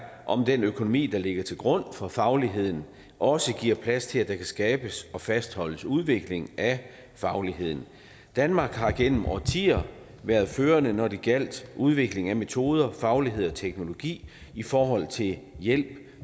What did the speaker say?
om den økonomi der ligger til grund for fagligheden også giver plads til at der kan skabes og fastholdes udvikling af fagligheden danmark har gennem årtier været førende når det gjaldt udvikling af metoder faglighed og teknologi i forhold til hjælp